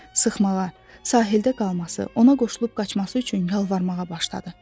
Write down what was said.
Sıxmağa, sahildə qalması, ona qoşulub qaçması üçün yalvarmağa başladı.